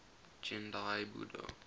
gendai budo